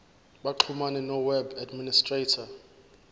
baxhumane noweb administrator